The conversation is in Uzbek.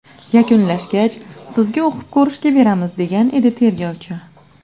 Yakunlashgach, sizga o‘qib ko‘rishga beramiz”, degan edi tergovchi.